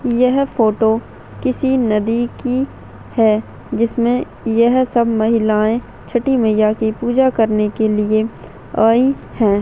यह फोटो किसी नदी की है जिसमें यह सब महिलाएं छठी मईया की पूजा करने के लिए आई है।